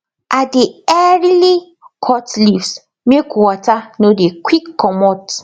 i dey earily cut leaves make water no dey quick comot